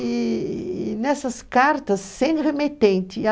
E nessas cartas, sem remetente.